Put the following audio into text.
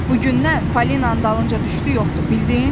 Bu gündən Falinanın dalınca düşdü yoxdur, bildin?